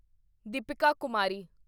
Deepika Kumari